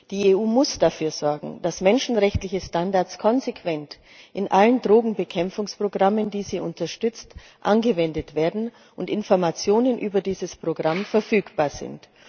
Die EU muss dafür sorgen, dass menschenrechtliche Standards konsequent in allen Drogenbekämpfungsprogrammen, die sie unterstützt, angewendet werden und dass Informationen über dieses Programm verfügbar sind.